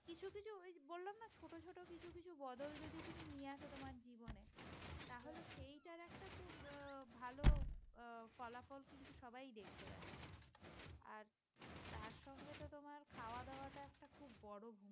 সবকিছু বদল যদি তুমি নিয়ে আসো তোমার জীবনে তাহলে সেইটার একটা আহ ভালো আহ ফলাফল কিন্তু সবাই দেখতে পাচ্ছে। আর তার সঙ্গে তোমার খাওয়া-দাওয়া টা একটা খুব বড়